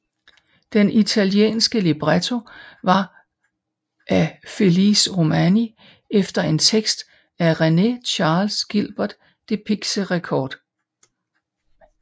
Den italienske libretto var af Felice Romani efter en tekst af René Charles Guilbert de Pixérécourt